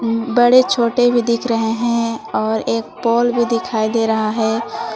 बड़े छोटे भी दिख रहे है और एक पोल भी दिखाई दे रहा है।